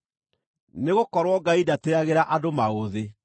Nĩgũkorwo Ngai ndatĩĩagĩra andũ maũthĩ.